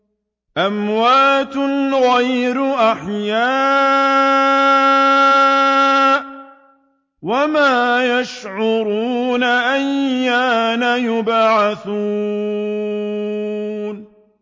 أَمْوَاتٌ غَيْرُ أَحْيَاءٍ ۖ وَمَا يَشْعُرُونَ أَيَّانَ يُبْعَثُونَ